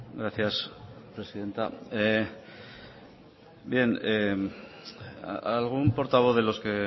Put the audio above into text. gracias presidenta bien algún portavoz de los que